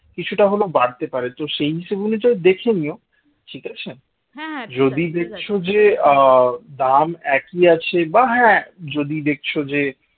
কিছুটা হলেও বাড়তে পারে তো সেই হিসাব অনুযায়ী দেখে নিও? ঠিক আছে যদি দেখছ যে আহ দাম একই আছে বা হ্যাঁ যদি দেখছো যে